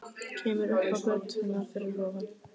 Kemur upp á götuna fyrir ofan.